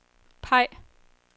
peg